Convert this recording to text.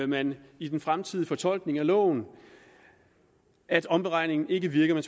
man i den fremtidige fortolkning af loven at omberegningen ikke virker